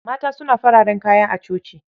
Mata suna fararen kaya a coci.